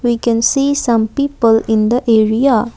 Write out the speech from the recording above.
we can see some people in the area.